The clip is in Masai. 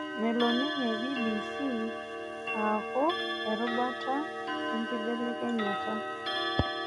Melo ninye BBC aaku erubata enkibelenyata